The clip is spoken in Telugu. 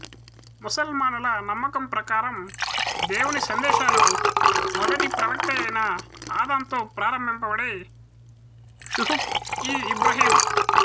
ముసల్మానుల నమ్మకము ప్రకారము దేవుని సందేశాలు మొదటి ప్రవక్తయైన ఆదమ్తో ప్రాంభింపబడి షుహుఫ్ ఇ ఇబ్రాహిమ్